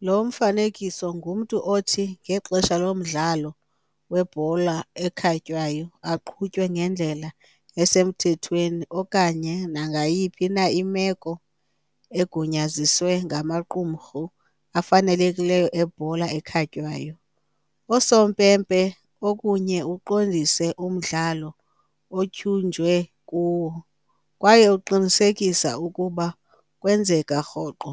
Lo mfanekiso ngumntu othi, ngexesha lomdlalo webhola ekhatywayo, aqhutywe ngendlela esemthethweni okanye nangayiphi na imeko egunyaziswe ngamaqumrhu afanelekileyo ebhola ekhatywayo, "osompempe" okunye uqondise umdlalo otyunjwe kuwo, kwaye uqinisekisa ukuba kwenzeka rhoqo.